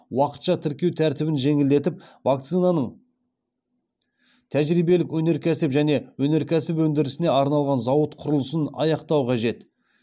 уақытша тіркеу тәртібін жеңілдетіп вакцинаның тәжірибелік өнеркәсіп және өнеркәсіп өндірісіне арналған зауыт құрылысын аяқтау қажет